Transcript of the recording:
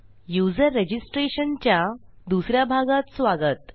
user registration च्या दुस या भागात स्वागत